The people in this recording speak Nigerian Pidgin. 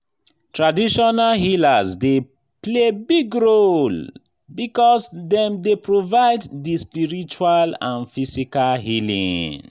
traditional healers dey play big role because dem dey provide di spiritual and physical healing.